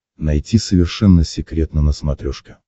найти совершенно секретно на смотрешке